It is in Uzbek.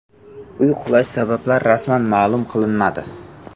Uy qulashi sabablari rasman ma’lum qilinmadi.